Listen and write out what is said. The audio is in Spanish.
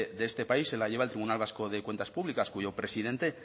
de este país se la lleva el tribunal vasco de cuentas públicas cuyo presidente